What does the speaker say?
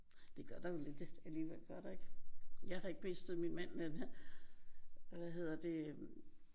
Det gør der jo lidt alligevel gør der ikke? Jeg har ikke mistet min mand men han hvad hedder det øh